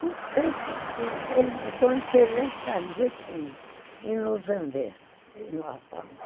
Não sei porquê, ele ficou interessadíssimo em nos vender.